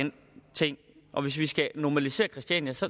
og hvis vi skal normalisere christiania så